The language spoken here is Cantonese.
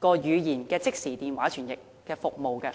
語言的即時電話傳譯服務。